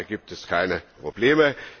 Ich glaube, da gibt es keine Probleme.